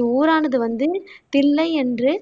இவ்வூரானது வந்து தில்லை என்று